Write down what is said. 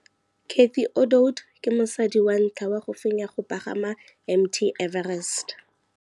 Cathy Odowd ke mosadi wa ntlha wa go fenya go pagama ga Mt Everest.